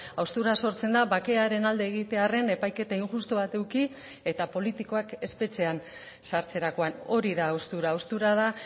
haustura sortzen da bakearen alde egitearren epaiketa injustu bat eduki eta politikoak espetxean sartzerakoan hori da haustura haustura da